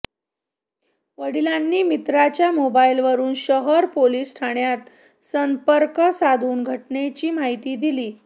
वडिलांनी मित्राच्या मोबाईलवरून शहर पोलीस ठाण्यात संपर्क साधून घटनेची माहिती दिली